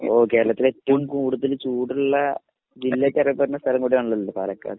മ്മ്. കേരളത്തിൽ ഏറ്റവും കൂടുതൽ ചൂടുള്ള ജില്ലയെന്ന് അറിയപ്പെടുന്ന സ്ഥലം അതാണല്ലോ. പാലക്കാട്.